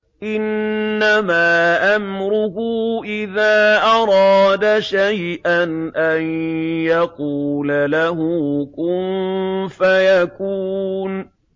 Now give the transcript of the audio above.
إِنَّمَا أَمْرُهُ إِذَا أَرَادَ شَيْئًا أَن يَقُولَ لَهُ كُن فَيَكُونُ